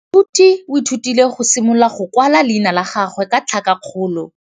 Moithuti o ithutile go simolola go kwala leina la gagwe ka tlhakakgolo.